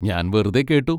ഞാൻ വെറുതെ കേട്ടു.